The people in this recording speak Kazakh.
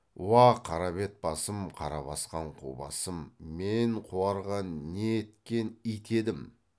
уа қара бет басым қара басқан қу басым мен қуарған не еткен ит едім